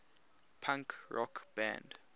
punk rock band